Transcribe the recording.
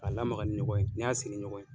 K'a lamaga ni ɲɔgɔn ye n'i y'a ni ɲɔgɔn ye.